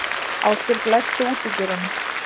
Ásbjörg, læstu útidyrunum.